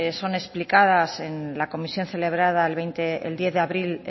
son explicadas en la comisión celebrada el diez de abril